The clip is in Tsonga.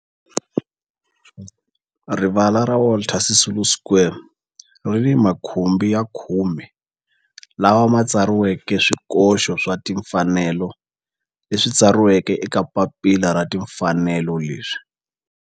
Rivala ra Walter Sisulu Square ri ni makhumbi ya khume lawa ma tsariweke swikoxo swa timfanelo leswi tsariweke eka papila ra timfanelo leswi